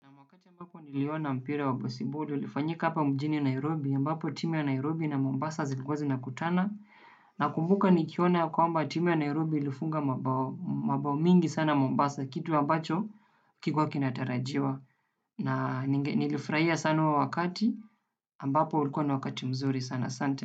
Wakati ambapo niliona mpira wa besiboli ulifanyika hapa mjini Nairobi, ambapo timu ya Nairobi na Mombasa zilikuwa zinakutana. Nakumbuka nikiona ya kwamba timu ya Nairobi ilifunga mabao mingi sana Mombasa, kitu ambacho hakikuwa kinatarajiwa. Na nilifurahia sana huo wakati, ambapo ulikuwa ni wakati mzuri sana. Asante.